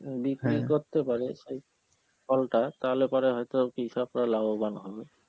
বিক্রি পারে সেই ফলটা তাহলে পরে হয়তো কৃষকরা লাভবান হবে.